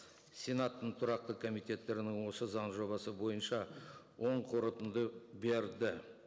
сенаттың тұрақты комитеттерінің осы заң жобасы бойынша оң қорытынды берді